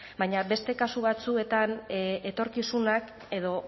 baina beste kasu batzuetan etorkizunak edo